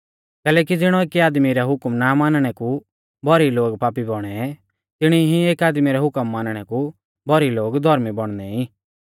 कैलैकि ज़िणौ एकी आदमी रै हुकम ना मानणै कु भौरी लोग पापी बौणै तिणी ई एक आदमी रै हुकम मानणै कु भौरी लोग धौर्मी बौणनै ई